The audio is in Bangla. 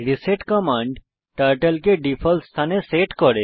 রিসেট কমান্ড টার্টল কে ডিফল্ট স্থানে সেট করে